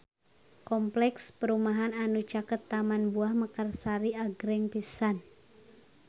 Kompleks perumahan anu caket Taman Buah Mekarsari agreng pisan